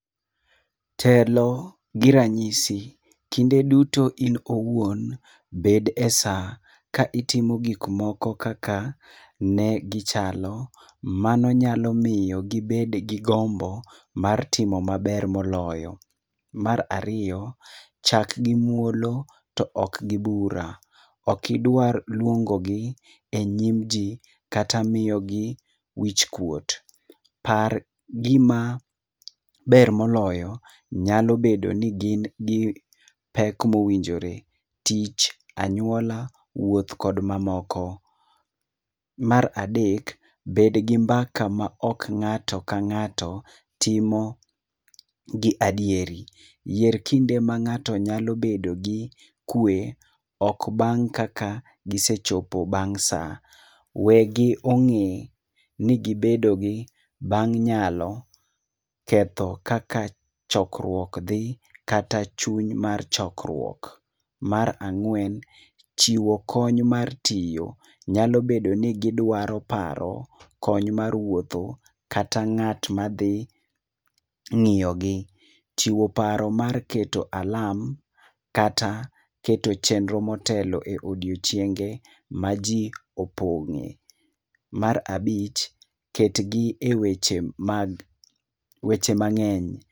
Telo gi ranyisi, kinde duto in owuon bed e saa ka itimo gik moko kaka ne gi chalo. Mano nyalo miyo gibed gi gombo mar timo maber moloyo. Mar ariyo, chak gi muolo to ok gi bura. Okidwar luongo gi e nyim ji kata miyo gi wich kuot. Par gima ber moloyo nyalo bedo ni gin gi pek mowinjore, tich, anyuola, wuoth, kod mamoko. Mar adek, bed gi mbaka ma ok ng'ato ka ng'ato timo gi adieri. Yier kinde ma ng'ato nyalo bedo gi kwe. Ok bang' kaka gisechopo bang' sa. Wegi ong'e ni gibedo gi bang' nyalo, ketho kaka chokruok dhi kata chuny mar chokruok. Mar ang'wen, chiwo kony mar tiyo. Nyalo bedo ni gidwaro paro kony mar wuotho kata ng'at ma dhi ng'iyo gi. Chiwo paro mar keto alam kata keto chenro motelo e odiochieng'e ma ji opong' e. Mar abich, ket gi e weche mag, weche mang'eny.